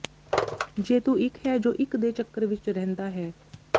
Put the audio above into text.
ਜੇਤੂ ਇੱਕ ਹੈ ਜੋ ਇੱਕ ਦੇ ਚੱਕਰ ਵਿੱਚ ਰਹਿੰਦਾ ਹੈ